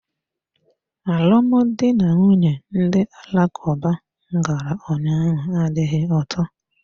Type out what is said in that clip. Alụmdi na nwunye ndị Alakuba m gara ụnyaahụ adịghị ụtọ.